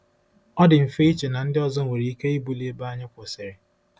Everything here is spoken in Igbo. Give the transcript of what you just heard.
Ọ dị mfe iche na ndị ọzọ nwere ike ibuli ebe anyị kwụsịrị.